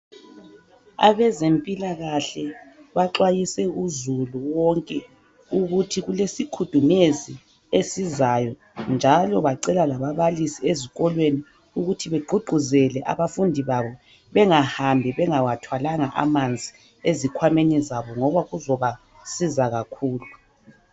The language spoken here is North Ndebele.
Abezempilakahle baxwayise uzulu wonke, ukuthi kulesikhudumezi esizayo, njalo bacela labababalisi ezikolweni, ukuthi begqugquzele abafundi babo bengahambi bengawathwalanga amanzi, ezikhwameni zabo, ngoba kuzobasiza kakhulu.